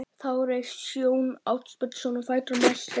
Þá reis Jón Ásbjarnarson á fætur og mælti